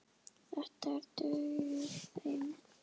Þetta dugði þeim.